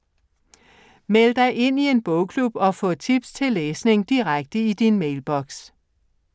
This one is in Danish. Meld dig ind i en bogklub og få tips til læsning direkte i din mailboks